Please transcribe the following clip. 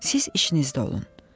Siz işinizdə olun.